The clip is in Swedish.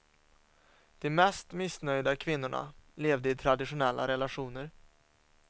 De mest missnöjda kvinnorna levde i traditionella relationer.